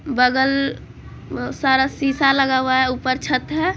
बगल सारा शिशा लगा हुआ है ऊपर छत है ।